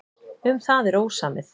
Um það er ósamið.